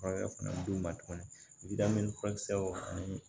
Furakɛ fɛnɛ bi d'u ma tuguni furakisɛw fana